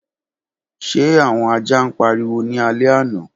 Ṣe awọn aja n pariwo ni alẹ ana?